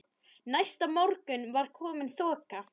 Næsta morgun var komin þoka.